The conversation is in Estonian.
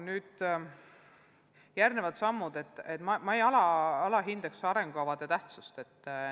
Järgmiste sammudena ma siiski ei alahindaks arengukavade tähtsust.